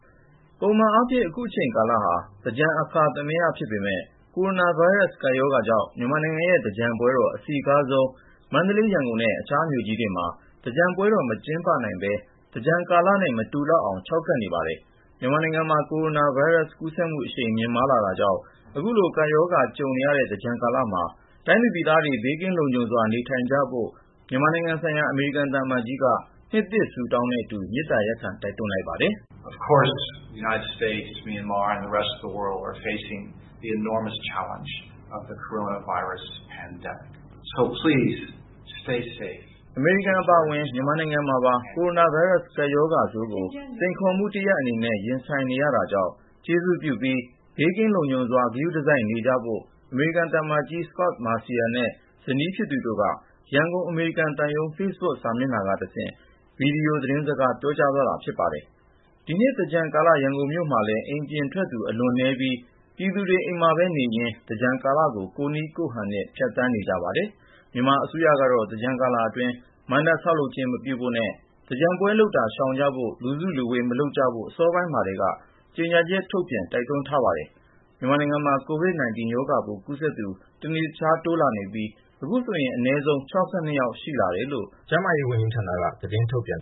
ပုံမှန်အားဖြင့် အခုအချိန်ကာလဟာ သင်္ကြန် အခါသမယ ဖြစ်ပေမယ့် ကိုရိုနာဗိုင်းရပ်စ် ကပ်ရောဂါကြောင့် မြန်မာနိုင်ငံရဲ့ သင်္ကြန်ပွဲတော် အစည်းကားဆုံး မန္တလေး၊ ရန်ကုန် နဲ့ အခြားမြို့ကြီးတွေမှ သင်္ကြန်ပွဲတော် မကျင်းပနိုင်ပဲ သင်္ကြန်ကာလနဲ့ မတူလောက်အောင် ခြောက်ကပ်နေပါတယ်။ မြန်မာနိုင်ငံမှာ ကိုရိုနာဗိုင်းရပ်စ် ကူးစက်မှု အရှိန်မြင့် ဖြစ်ပေါ် လာနေတာကြောင့် အခုလို ကပ်ရောဂါ ကြုံနေရတဲ့ သင်္ကြန်ကာလမှာပြည်သူ ပြည်သားတွေ ဘေးကင်းလုံခြုံစွာ နေထိုင်ကြဖို့ မြန်မာနိုင်ငံဆိုင်ရာ အမေရိကန် သံအမတ်ကြီးက နှစ်သစ်ဆုတောင်းနဲ့ အတူ မေတ္တာရပ်ခံ တိုက်တွန်းလိုက်ပါတယ်။ “အမေရိကန်အပါအဝင် မြန်မာနိုင်ငံမှာပါ ကိုရိုနာဗိုင်းရပ်စ် ကပ်ရောဂါဆိုးကို စိန်ခေါ်မှု တရပ်အနေနဲ့ ရင်ဆိုင်နေရတာကြောင့် ကျေးဇူးပြုပြီး ဘေးကင်းလုံခြုံစ ွာ ဂရုတစိုက်နေကြဖို့" အမေရိကန် သံအမတ်ကြီး Scot Marciel နဲ့ ဇနီးတို့က ရန်ကုန် အမေရိကန်သံရုံး Facebook စာမျက်နှာက တဆင့် ဗွီဒီယိုသတင်းစကား ပြောသွားတာ ဖြစ်ပါတယ်။ ဒီနှစ်သင်္ကြန်ကာလ ရန်ကုန်မြို့မှာလည်း အိမ်ပြင်ထွက်သူ အလွန်နည်းပြီး ပြည်သူတွေ အိမ်မှာပဲနေရင်း သင်္ကြန်ကာလကို ကိုယ့်နည်းကိုယ့်ဟန်နဲ့ ဖြတ်သန်းနေကြပါတယ်။ မြန်မာအစိုးရကတော့ သင်္ကြန်ကာလအတွင်း မဏ္ဍပ်ဆောက်လုပ်ခြင်း မပြုဖို့ ၊ သင်္ကြန်ပွဲ လုပ်တာ ရှောင်ကြဖို့၊ လူစုလူဝေး မလုပ်ဖို့ အစောပိုင်းမှာထဲက ကြေညာချက်ထုတ်ပြန် တိုက်တွန်းထားပါတယ်။ မြန်မာနိုင်ငံမှာ COVID-19 ရောဂါပိုးကူးစက်သူ တနေ့တခြား တိုးလာနေပြီး အခုဆိုရင် အနည်းဆုံး(၆၂) ယောက် ရှိလာတယ်လို့ ကျန်းမာရေးဝန်ကြီးဌာနက သတင်းထုတ်ပြန်